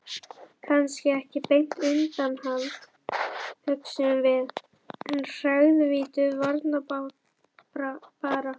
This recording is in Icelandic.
Kannski ekki beint undanhald, hugsuðum við, en harðvítug varnarbarátta.